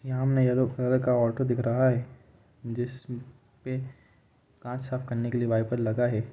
यहां yellow colour का auto दिख रहा है जिस पे कांच साफ करने के लिए वाईपर लगा है।